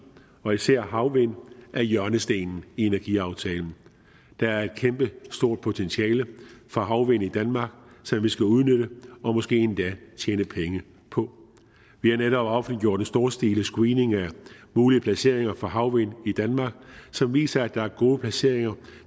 og især havvind er hjørnestenen i energiaftalen der er et kæmpestort potentiale for havvind i danmark som vi skal udnytte og måske endda tjene penge på vi har netop offentliggjort en storstilet screening af mulige placeringer for havvind i danmark som viser at der er gode placeringer